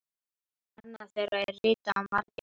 Annað þeirra er ritað af Margeiri